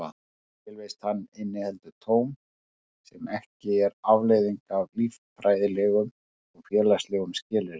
Tilvist hans inniheldur tóm sem ekki er afleiðing af líffræðilegum og félagslegum skilyrðum.